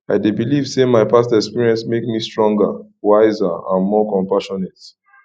i dey believe say my past experiences make me stronger wiser and more compassionate